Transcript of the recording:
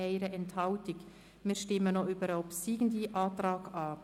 Nun stimmen wir über den obsiegenden Antrag ab.